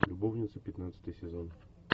любовницы пятнадцатый сезон